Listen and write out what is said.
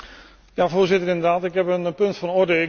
Ja, Voorzitter, inderdaad, ik heb een punt van orde.